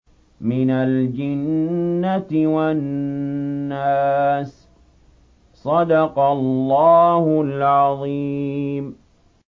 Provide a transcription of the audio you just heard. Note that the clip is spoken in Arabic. مِنَ الْجِنَّةِ وَالنَّاسِ